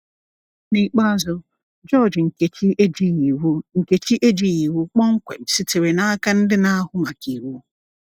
N’ikpeazụ, GEORGE Nkechi ejighị iwu Nkechi ejighị iwu kpọmkwem sitere n'aka ndị na-ahụ maka iwu!